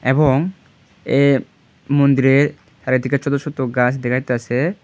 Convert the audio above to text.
এবং এ মন্দিরের চারিদিকে ছোতো ছোতো গাস দেখা যাইতাসে।